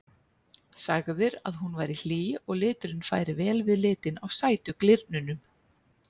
Sagðir að hún væri hlý og liturinn færi vel við litinn á sætu glyrnunum.